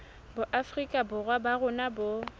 boafrika borwa ba rona bo